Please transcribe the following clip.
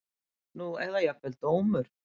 Nú eða jafnvel dómur